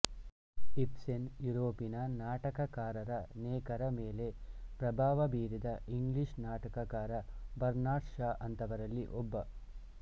Ibsen ಯೂರೋಪಿನ ನಾಟಕಕಾರರನೇಕರ ಮೇಲೆ ಪ್ರಭಾವ ಬೀರಿದ ಇಂಗ್ಲಿಷ್ ನಾಟಕಕಾರ ಬರ್ನಾರ್ಡ್ ಷಾ ಅಂಥವರಲ್ಲಿ ಒಬ್ಬ